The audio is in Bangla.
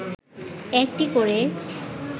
১টি করে